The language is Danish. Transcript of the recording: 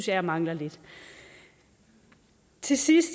jeg mangler lidt til sidst